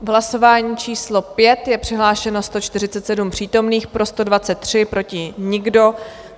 V hlasování číslo 5 je přihlášeno 147 přítomných, pro 123, proti nikdo.